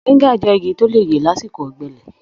Mọ̀ríńgà jẹ́ igi tó lè yè lásìkò ọ̀gbẹlẹ̀.